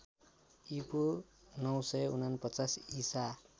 ईपू ९४९ ईसा